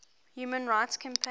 human rights campaign